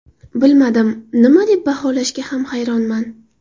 Bilmadim, nima deb baholashga ham hayronman.